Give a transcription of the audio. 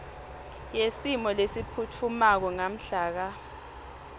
yesimo lesiphutfumako ngamhlaka